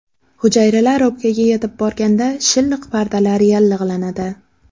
Hujayralar o‘pkaga yetib borganda, shilliq pardalar yallig‘lanadi.